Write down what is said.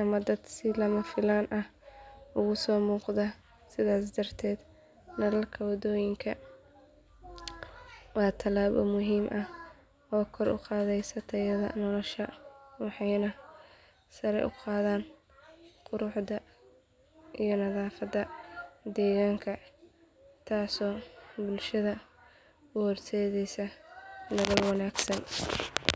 ama dad si lama filaan ah uga soo muuqda sidaas darteed nalalka waddooyinka waa tallaabo muhiim ah oo kor u qaadaysa tayada nolosha waxayna sare u qaadaan quruxda iyo nadaafadda deegaanka taasoo bulshada u horseedaysa nolol wanaagsan.